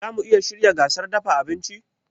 Zamu iya shirya gasar dafa abinci?